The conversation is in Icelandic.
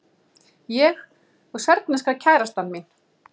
Ég og serbneska kærastan mín.